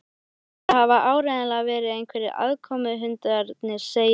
Þetta hafa áreiðanlega verið einhverjir aðkomuhundarnir segir